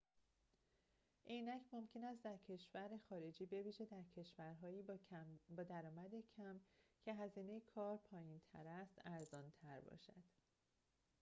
عینک ممکن است در کشور خارجی بویژه در کشورهایی با درآمد کم که هزینه کار پایین‌تر است ارزان‌تر باشد